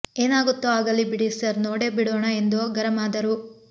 ಏನಾಗುತ್ತೋ ಆಗಲಿ ಬಿಡಿ ಸರ್ ನೋಡೇ ಬಿಡೋಣ ಎಂದು ಗರಂ ಆದರು